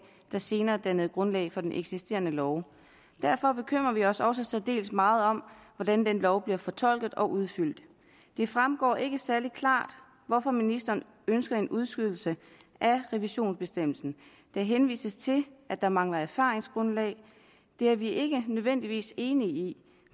der senere dannede grundlaget for den eksisterende lov derfor bekymrer vi os også særdeles meget om hvordan den lov bliver fortolket og udfyldt det fremgår ikke særlig klart hvorfor ministeren ønsker en udskydelse af revisionsbestemmelsen der henvises til at der mangler erfaringsgrundlag det er vi ikke nødvendigvis enige i